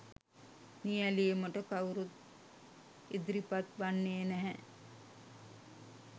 නියැලීමට කවුරුත් ඉදිරිපත් වන්නේ නැහැ.